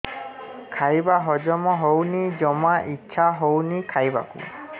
ଖାଇବା ହଜମ ହଉନି ଜମା ଇଛା ହଉନି ଖାଇବାକୁ